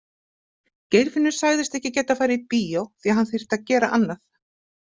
Geirfinnur sagðist ekki geta farið í bíó því hann þyrfti að gera annað.